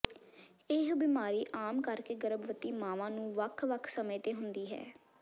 ਇਹ ਬਿਮਾਰੀ ਆਮ ਕਰਕੇ ਗਰਭਵਤੀ ਮਾਵਾਂ ਨੂੰ ਵੱਖ ਵੱਖ ਸਮੇਂ ਤੇ ਹੁੰਦੀ ਹੈ